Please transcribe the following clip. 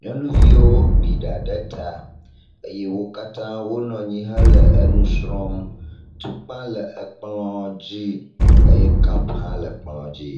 nyɔnuviwo gbi ɖa ɖe ta eyɛ wokatã wonɔnyi hele enusrɔm, tukpa le ekplɔ̃ dzi eyɛ kap hã le ekplɔ̃ dzi